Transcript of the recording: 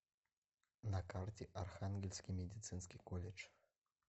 на карте архангельский медицинский колледж